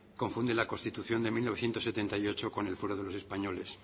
confunde la constitución de mil novecientos setenta y ocho con el fuero de los españoles